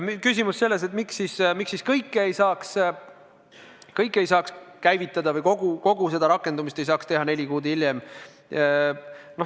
Oli küsimus, miks siis kogu seda rakendumist ei saaks teha neli kuud hiljem.